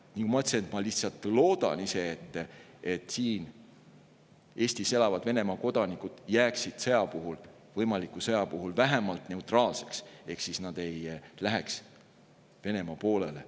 Ma lihtsalt loodan, et Eestis elavad Venemaa kodanikud jääksid sõja puhul, võimaliku sõja puhul vähemalt neutraalseks ehk nad ei läheks Venemaa poolele.